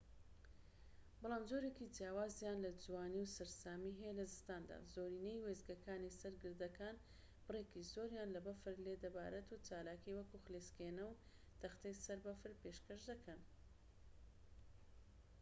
بەڵام جۆرێکی جیاوازیان لە جوانی و سەرسامی هەیە لە زستاندا زۆرینەی وێستگەکانی سەر گردەکان بڕێکی زۆریان لە بەفر لێ دەبارێت و چالاکیی وەکو خلیسکێنە و تەختەی سەر بەفر پێشکەش دەکەن